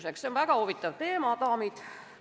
See on väga huvitav teema, daamid!